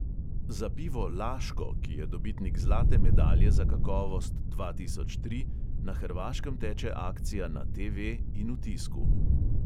Za pivo laško, ki je dobitnik zlate medalje za kakovost dva tisoč tri, na hrvaškem teče akcija na TV in v tisku.